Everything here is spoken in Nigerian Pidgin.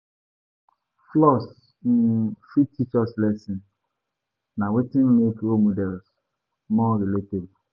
Flaws um fit teach us lessons; na wetin make role models more relatable.